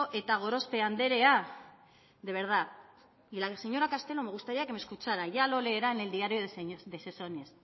eta gorospe anderea de verdad y la señora castelo me gustaría que me escuchara ya lo leerán en el diario